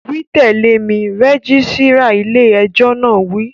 Wí tẹ̀lé mi, rẹ́gísírà ilé ẹjọ́ náà wí